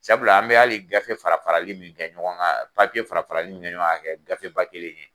Sabula an bɛ hali gafe fara farali min kɛ ɲɔgɔn kan fara farali min kɛ ɲɔgɔn kan ka kɛ gafe ba kelen ye.